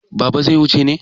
Baba zai wuce ne?